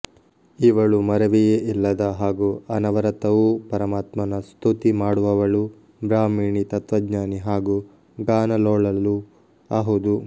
ಇವಳು ಮರೆವೆಯೇ ಇಲ್ಲದ ಹಾಗೂ ಅನವರತವೂ ಪರಮಾತ್ಮನ ಸ್ತುತಿ ಮಾಡುವವಳು ಬ್ರಹ್ಮಾಣಿ ತತ್ವಜ್ಞಾನಿ ಹಾಗೂ ಗಾನಲೋಲಳೂ ಅಹುದು